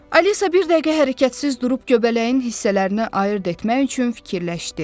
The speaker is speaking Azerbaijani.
Alisa bir dəqiqə hərəkətsiz durub göbələyin hissələrinə ayırd etmək üçün fikirləşdi.